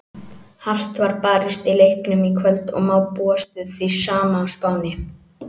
Hart var barist í leiknum í kvöld og má búast við því sama á Spáni.